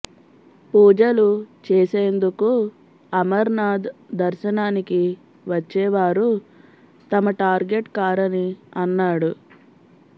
పూజలు చేసేందుకు అమర్నాథ్ దర్శనానికి వచ్చే వారు తమ టార్గెట్ కారని అన్నాడు